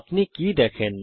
আপনি কি দেখেন